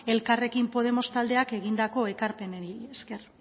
elkarrekin podemos taldeak egindako ekarpenei esker